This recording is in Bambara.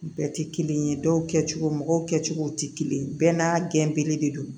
Bɛɛ tɛ kelen ye dɔw kɛ cogo mɔgɔw kɛcogow tɛ kelen ye bɛɛ n'a gɛnbele de don